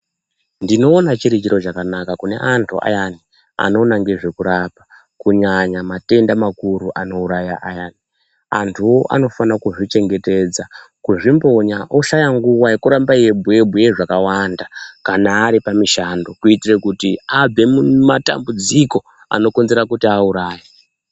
Ndinoona chiri chiro chakanaka kune antu ayani anoona ngezvekurapa kunyanya matenda makuru anouraya ayani. Antuwo anofana kuzvichengetedza, kuzvimbonya oshaya nguva yekuramba eyibhuye bhuye zvakawanda kana ari pamishando kuitire kuti abve mumatambudziko anokonzera kuti auraye.